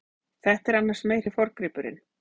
Þetta er annars meiri forngripurinn.